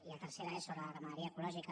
i la tercera és sobre ramaderia ecològica